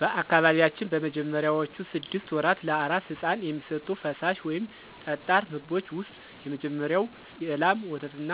በአካባቢያችን በመጀመሪያዎቹ ስድስት ወራት ለአራስ ሕፃን የሚሰጡት ፈሳሽ ወይም ጠጣር ምግቦች ውስጥ የመጀመሪያው የላም ወተትና